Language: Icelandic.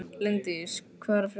Líndís, hvað er að frétta?